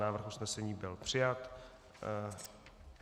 Návrh usnesení byl přijat.